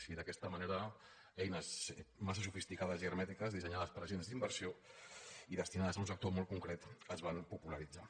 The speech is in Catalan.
i d’aquesta manera eines mas·sa sofisticades i hermètiques dissenyades per agents d’inversió i destinades a un sector molt concret es van popularitzar